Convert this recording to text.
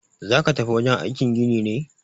Zaka tafi wajen aikin gini ne?